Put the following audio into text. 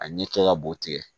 A ɲɛ kɛ ka b'o tigɛ